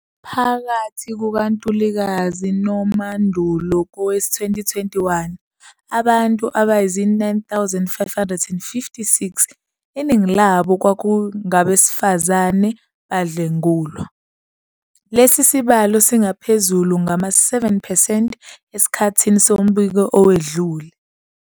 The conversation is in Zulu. Phakathi kukaNtulikazi noMandulo kowezi-2021, abantu abayizi-9 556, iningi labo kwakungabesifazane, badlwengulwa. Lesi sibalo singaphezulu ngama-7 percent esikhathini sombiko owedlule.